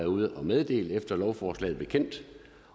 ude at meddele efter lovforslaget blev kendt